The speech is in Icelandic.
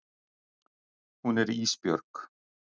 Hún er Ísbjörg.